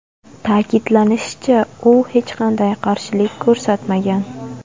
Ta’kidlanishicha, u hech qanday qarshilik ko‘rsatmagan.